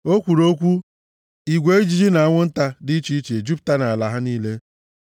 O kwuru okwu, igwe ijiji na anwụ nta dị iche iche ejupụta nʼala ha niile.